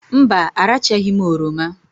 Mba, arachaghị m oroma